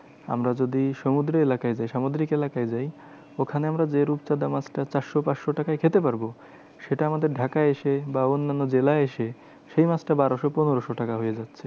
আমরা যদি সমুদ্র এলাকায় যাই সামুদ্রিক এলাকায় যাই, ওখানে আমরা যে রূপচাঁদা মাছটা চারশো পাঁচশো টাকায় খেতে পারবো। সেটা আমাদের ঢাকায় এসে বা অন্যান্য জেলায় এসে, সেই মাছটা বারোশো পনেরোশো টাকা হয়ে যায়।